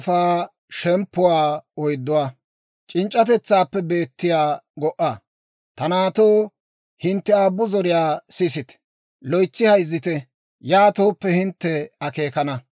Ta naatoo, hintte aabbu zoriyaa sisite; loytsi hayzzite; yaatooppe, hintte akeekana.